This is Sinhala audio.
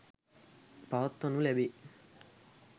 පවත්වනු ලැබේ.